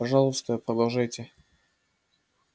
пожалуйста продолжайте